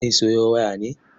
Zai sayo waya ne?